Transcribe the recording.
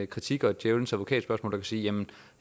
kritik og et djævelens advokat spørgsmål og sige jamen